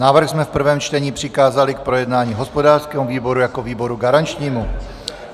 Návrh jsme v prvém čtení přikázali k projednání hospodářskému výboru jako výboru garančnímu.